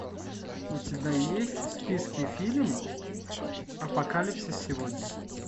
у тебя есть в списке фильм апокалипсис сегодня